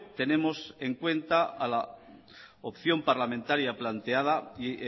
tenemos en cuenta a la opción parlamentaria planteada y